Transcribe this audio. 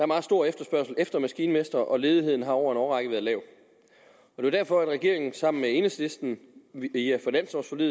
meget stor efterspørgsel efter maskinmestre og ledigheden har over en årrække været lav det var derfor at regeringen sammen med enhedslisten